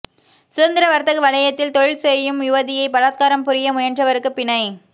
சுதந்திர வர்த்தக வலயத்தில் தொழில் செய்யும் யுவதியை பலாத்காரம் புரியமுயன்றவருக்கு பிணை